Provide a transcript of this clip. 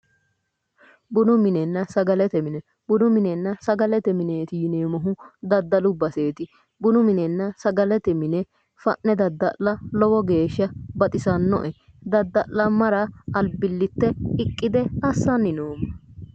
Bunu minena sagalete mine, bunu minena sagalete mineeti yineemohu Daddallu basseeti bunu minena sagalete mine fanne daddalla lowo geesha baxisanoe daddallamara alibilte lowo geesha aqqade nooma